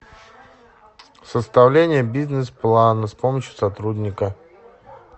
составление бизнес плана с помощью сотрудника